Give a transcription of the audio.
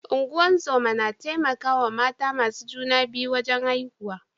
Ungozoma na taimaka wa mata masu juna biyu wajen haihuwa.